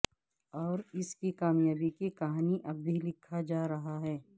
اور اس کی کامیابی کی کہانی اب بھی لکھا جا رہا ہے